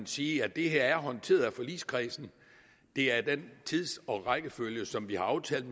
sige at det her er blevet håndteret af forligskredsen det er den tids og rækkefølge som vi har aftalt